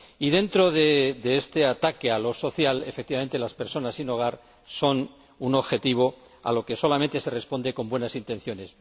Y dentro de este ataque a lo social, efectivamente, las personas sin hogar son un objetivo, a lo que solamente se responde con buenas intenciones.